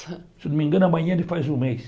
Se não me engano, amanhã ele faz um mês.